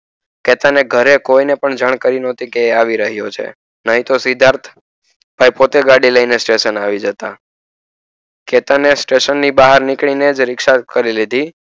ચેતન ના ઘરે કોઈ પણ ને જાણકારી ન હતી કે આવી રહીયો છે નહિ તો સિદ્ધાર્થ પોતે ગાડી લય ને સ્ટેશન આવી જાતે ચેતાને સ્ટેશન ની બહાર નીકળી ને જ રીક્ષા કરી લીધી